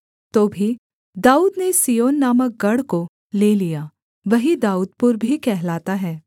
तो भी दाऊद ने सिय्योन नामक गढ़ को ले लिया वही दाऊदपुर भी कहलाता है